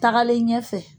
Tagalen ɲɛfɛ